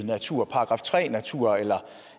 natur § tre natur eller